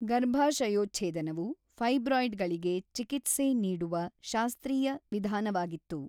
ಗರ್ಭಾಶಯೋಚ್ಛೇದನವು ಫೈಬ್ರಾಯ್ಡ್‌ಗಳಿಗೆ ಚಿಕಿತ್ಸೆ ನೀಡುವ ಶಾಸ್ತ್ರೀಯ ವಿಧಾನವಾಗಿತ್ತು.